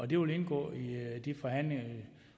det vil indgå i de forhandlinger